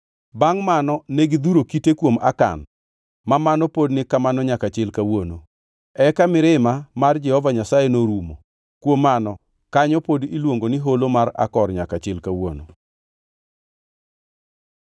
Bangʼ mano ne gidhuro kite kuom Akan, ma mano pod ni kamano nyaka chil kawuono. Eka mirima mar Jehova Nyasaye norumo. Kuom mano kanyo pod iluongo ni Holo mar Akor nyaka chil kawuono.